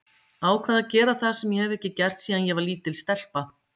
Ákveð að gera það sem ég hef ekki gert síðan ég var lítil stelpa.